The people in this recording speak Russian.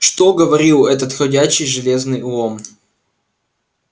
что говорил этот ходячий железный лом